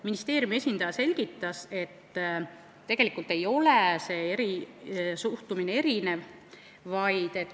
Ministeeriumi esindaja selgitas, et tegelikult ei ole siin erinevat kohtlemist.